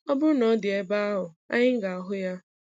Ọ bụrụ na ọ dị ebe ahụ, anyị ga-ahụ ya.